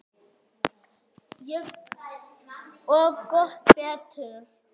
Og gott betur.